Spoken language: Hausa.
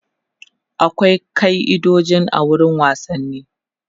akwai kai'idoji a wurin wasanni